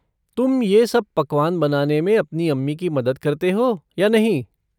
तुम ये सब पकवान बनाने में अपनी अम्मी की मदद करते हो या नहीं?